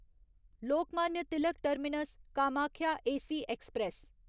Lokmanya Tilak terminus Kamakhya AC express